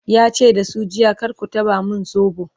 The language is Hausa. yace da su jiya"kar ku taba min sobo!'